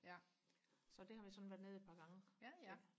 så der har vi så været nede et par gange